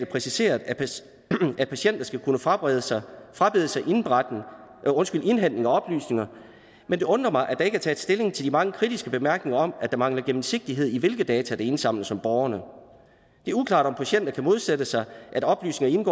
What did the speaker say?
præciseret at patienter skal kunne frabede sig frabede sig indhentning af oplysninger men det undrer mig at der ikke er taget stilling til de mange kritiske bemærkninger om at der mangler gennemsigtighed i hvilke data der indsamles om borgerne det er uklart om patienter kan modsætte sig at oplysningerne